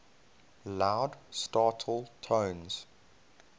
loud startle tones